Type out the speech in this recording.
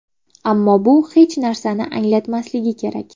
Ammo bu hech narsani anglatmasligi kerak.